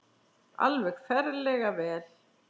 Alveg ferlega vel.